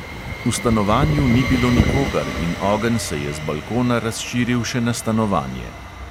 V stanovanju ni bilo nikogar in ogenj se je z balkona razširil še na stanovanje.